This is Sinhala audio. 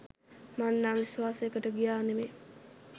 මං නම් විශ්වාසෙකට ගියා නෙමෙයි